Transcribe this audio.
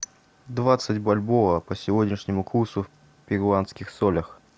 двадцать бальбоа по сегодняшнему курсу в перуанских солях